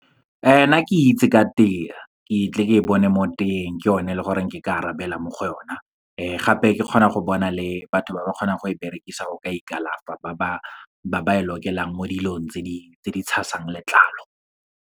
Nna ke itse ka tee, ke tle ke e bone mo teeng. Ke yone e leng gore ke ka arabela mo go o na. Gape ke kgona go bona le batho ba ba kgonang go e berekisa go ka ikalafa, ba ba e lokelang mo dilong tse di tshasang letlalo.